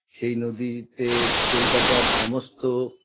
সেই নদীতে কলকাতার সমস্ত